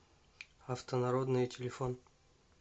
автонародные телефон